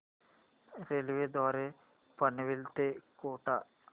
railway द्वारे पनवेल ते कोटा